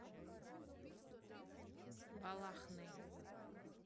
балахны